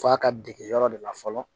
F'a ka dege yɔrɔ de la fɔlɔ